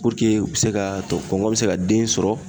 u bɛ se ka to kɔnkɔn bɛ se ka den sɔrɔ